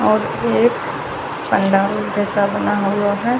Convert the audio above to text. और एक जैसा पंडाल बना हुआ है।